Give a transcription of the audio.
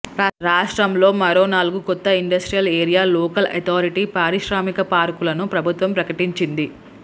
రాష్ట్రంలో మరో నాలుగు కొత్త ఇండస్ట్రియల్ ఏరియా లోకల్ అథారిటీ పారిశ్రామిక పార్కులను ప్రభుత్వం ప్రకటించింది